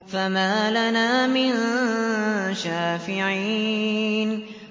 فَمَا لَنَا مِن شَافِعِينَ